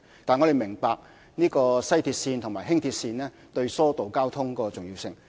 但是，我們明白西鐵線及輕鐵對疏導交通的重要性。